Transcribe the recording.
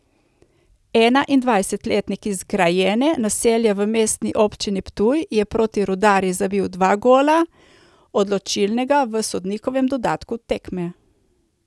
Enaindvajsetletnik iz Grajene, naselja v Mestni občini Ptuj, je proti Rudarju zabil dva gola, odločilnega v sodnikovem dodatku tekme.